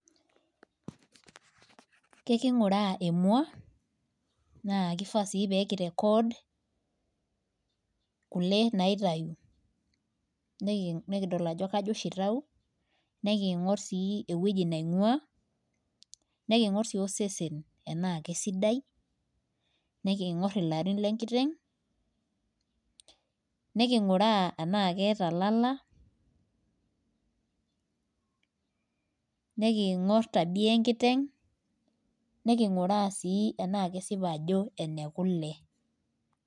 Ekinguraaa emua. naa kifaa sii peeki record .kule naitayu. nikidol ajo kajo oshi itayu. nikidol ajo kaji oshi ing'ua. nikingor sii osesen enaa kisadai. nikingor ilarin le nkiteng. nikinguraa enaa keeta lala. nikingor tabia enkiteng'.nikinguraa sii enaa kesipa ajo ene kule.